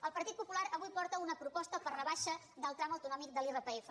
el partit popular avui porta una proposta per rebaixar el tram autonòmic de l’irpf